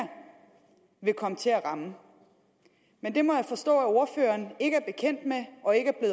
vil komme til at ramme men det må jeg forstå at ordføreren ikke er bekendt med og ikke